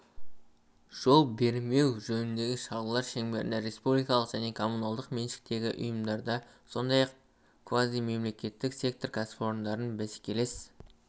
жол бермеу жөніндегі шаралар шеңберінде республикалық және коммуналдық меншіктегі ұйымдарды сондай-ақ квазимемлекеттік сектор кәсіпорындарын бәсекелес